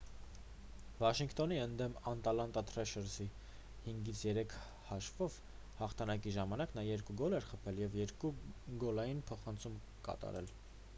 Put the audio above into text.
վաշինգտոնի ընդդեմ ատլանտա տրեշերզի 5-3 հաշվով հաղթանակի ժամանակ նա 2 գոլ էր խփել և 2 գոլային փոխանցում կատարել